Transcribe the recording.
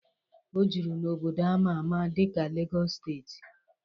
O juru n'obodo ama ama dị ka Legos steeti.